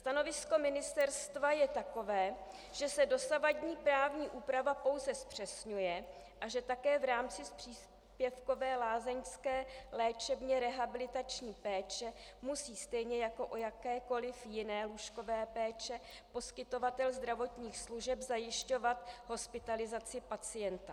Stanovisko ministerstva je takové, že se dosavadní právní úprava pouze zpřesňuje a že také v rámci příspěvkové lázeňské léčebně rehabilitační péče musí stejně jako u jakékoliv jiné lůžkové péče poskytovatel zdravotních služeb zajišťovat hospitalizaci pacienta.